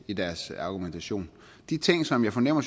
i deres argumentation de ting som jeg fornemmer